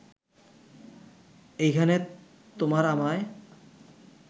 এইখানে তোমার আমায়